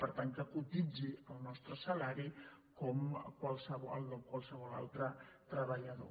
per tant que cotitzi el nostre salari com el de qualsevol altre treballador